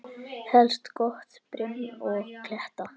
Helst gott brim og kletta.